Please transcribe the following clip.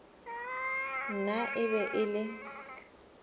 nna e be e le